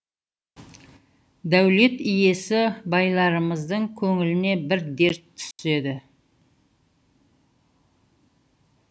дәулет иесі байларымыздың көңіліне бір дерт түседі